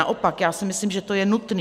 Naopak, já si myslím, že to je nutné.